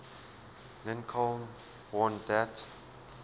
lincoln warned that